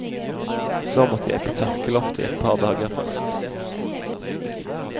Så måtte jeg på tørkeloftet i et par dager først.